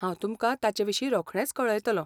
हांव तुमकां ताचेविशीं रोखडेंच कळयतलों.